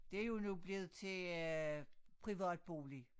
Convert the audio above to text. Det jo nu blevet til øh privat bolig